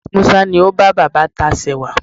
Musa ni o ba baba tacewa